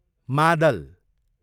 मादल